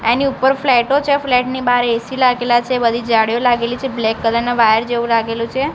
એની ઉપર ફ્લટો છે ફ્લેટ ની બાર એ_સી લાગેલા છે બધી જાડીયો લાગેલી છે બ્લેક કલર ના વાયર જેવું લાગેલું છે.